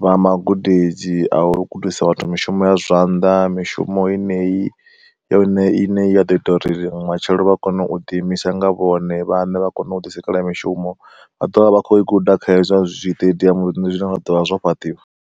vha magudedzi a u gudisa vhathu mishumo ya zwanḓa, mishumo yeneyi ya ine i ne ya ḓo ita uri matshelo vha kone u ḓi imisa nga vhone vhaṋe vha kone u ḓi sikelela mishumo, vha ḓovha vha kho i guda kha hezwi zwiṱediamu zwine zwa ḓovha zwo fhaṱiwa.